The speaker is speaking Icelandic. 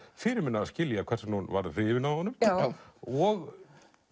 fyrirmunað að skilja hvers vegna hún varð hrifin af honum og